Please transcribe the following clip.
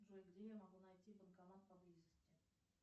джой где я могу найти банкомат поблизости